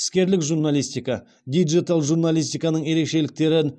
іскерлік журналистика диджитал журналистиканың ерекшеліктерін